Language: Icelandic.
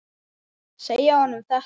Segja honum þetta?